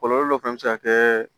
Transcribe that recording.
Kɔlɔlɔ dɔ fɛnɛ bɛ se ka kɛ